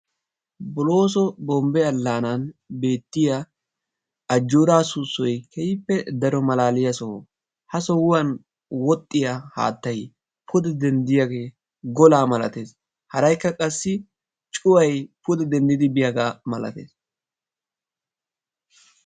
Bolooso Bombbe Allaanan beettiya Ajjoora Soosoy keehippe daro malaaliya soho. Ha sohuwan wodhdhiya haattaay pude denddiyage gola malatees. Haraykka qassi cuwaay pude denddidi biiyaga malatees.